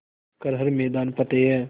कर हर मैदान फ़तेह